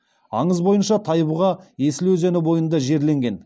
аңыз бойынша тайбұға есіл өзені бойында жерленген